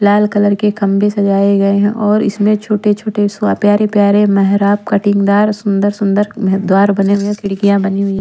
लाल colour के खम्भे सजाए गए हैं और इसमें छोटे-छोटे प्यारे-प्यारे मेहराब कटिंगदार सुंदर-सुंदर द्वार बने हुए खिड़कियाँ बनी हुई है।